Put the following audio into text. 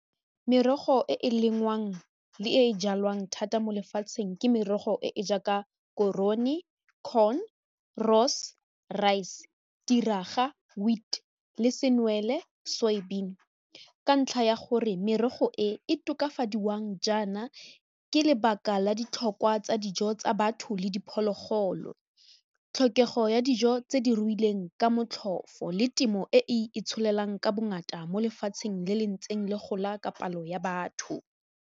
Merogo e e lengwang le e e jalwang thata mo lefatsheng ke merogo e e jaaka korone, corn, , rice, tiraga, wheat le senwele, ka ntlha ya gore merogo e e tokafadiwang jaana ke lebaka la ditlhokwa tsa dijo tsa batho le diphologolo, tlhokego ya dijo tse di ruileng ka motlhofo le temo e e itsholelang ka bongata mo lefatsheng le le ntseng le gola ka palo ya batho.